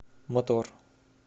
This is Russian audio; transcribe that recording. мотор